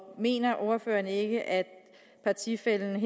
mener ordføreren ikke at partifællen